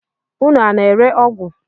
Unu a na-ere ọgwụ?